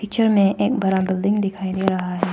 पीछे में एक बड़ा बिल्डिंग दिखाई दे रहा है।